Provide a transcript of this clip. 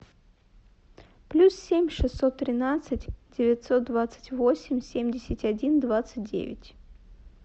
плюс семь шестьсот тринадцать девятьсот двадцать восемь семьдесят один двадцать девять